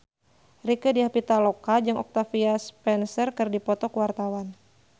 Rieke Diah Pitaloka jeung Octavia Spencer keur dipoto ku wartawan